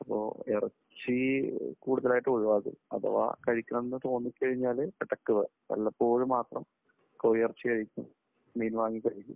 ഇപ്പോ ഇറച്ചി കൂടുതലായിട്ട് ഒഴിവാക്കി. അഥവാ കഴിക്കണം എന്ന് തോന്നിക്കഴിഞ്ഞാൽ ഇടയ്ക്ക് വല്ലപ്പോഴും മാത്രം കോഴിയിറച്ചി കഴിക്കും, മീൻ വാങ്ങി കഴിക്കും.